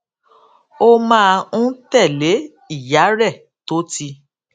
ó máa ń tèlé ìyá rè tó ti